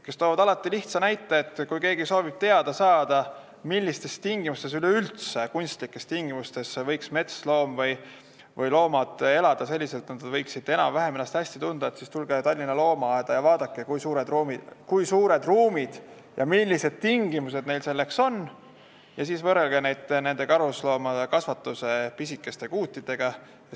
Nad toovad alati lihtsa näite: kui keegi soovib teada saada, üleüldse millistes kunstlikes tingimustes võiks metsloom elada selliselt, et ta võiks ennast enam-vähem hästi tunda, siis tuleb minna Tallinna Loomaaeda ja vaadata, kui suured ruumid ja millised tingimused neil seal on, ning siis tuleks võrrelda seda karusloomakasvanduse pisikeste kuutidega.